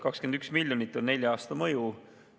21 miljonit on nelja aasta mõju.